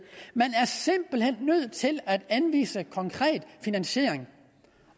man er simpelt hen nødt til at anvise konkret finansiering